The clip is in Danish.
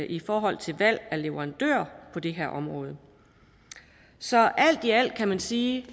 i forhold til valg af leverandør på det her område så alt i alt kan man sige